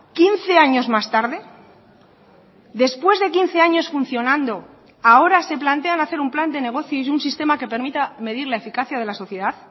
quince años más tarde después de quince años funcionando ahora se plantean hacer un plan de negocio y un sistema que permita medir la eficacia de la sociedad